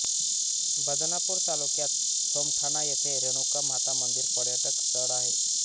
बदनापूर तालुक्यात सोमठाना येथे रेणुका माता मंदिर पर्यटक स्थळ आहे